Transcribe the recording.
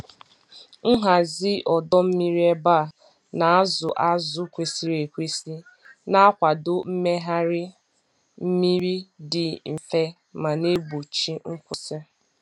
Nhazi ọdọ mmiri ebe a na-azụ azụ kwesịrị ekwesị na-akwado mmegharị mmiri dị mfe ma na-egbochi nkwụsị.